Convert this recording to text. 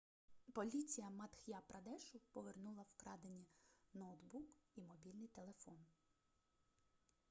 поліція мадх'я-прадешу повернула вкрадені ноутбук і мобільний телефон